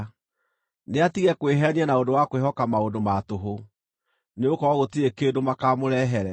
Nĩatige kwĩheenia na ũndũ wa kwĩhoka maũndũ ma tũhũ, nĩgũkorwo gũtirĩ kĩndũ makaamũrehere.